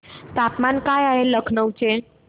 तापमान काय आहे लखनौ चे